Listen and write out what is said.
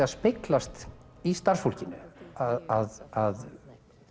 að speglast í starfsfólkinu að